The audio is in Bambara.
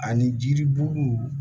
Ani jiriburu